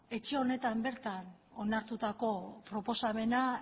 etxe honetan bertan onartutako proposamena